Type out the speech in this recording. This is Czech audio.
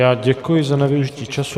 Já děkuji za nevyužití času.